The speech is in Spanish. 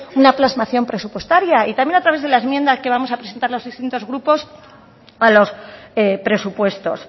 una plasmación presupuestaria y también a través de las enmiendas que vamos a presentar los distintos grupos a los presupuestos